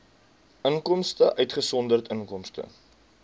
inkomste uitgesonderd inkomste